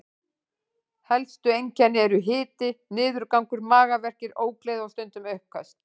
Helstu einkennin eru hiti, niðurgangur, magaverkir, ógleði og stundum uppköst.